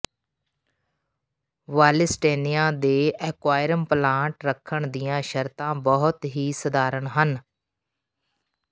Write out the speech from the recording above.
ਵਾਲਿਸਟਨਿਆ ਦੇ aquarium plant ਰੱਖਣ ਦੀਆਂ ਸ਼ਰਤਾਂ ਬਹੁਤ ਹੀ ਸਧਾਰਨ ਹਨ